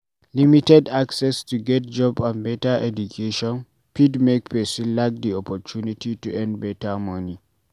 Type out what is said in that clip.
Limited access to get job and better education fit make person lack di opportunity to earn better money